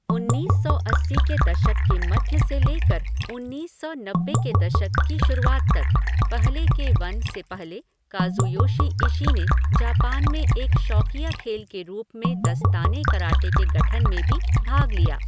उन्नीस सौ अस्सी के दशक के मध्य से लेकर उन्नीस सौ नब्बे के दशक की शुरुआत तक, पहले के वन से पहले, काज़ुयोशी इशी ने जापान में एक शौकिया खेल के रूप में दस्ताने कराटे के गठन में भी भाग लिया।